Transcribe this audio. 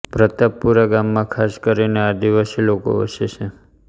પ્રતાપપુરા ગામમાં ખાસ કરીને આદિવાસી લોકો વસે છે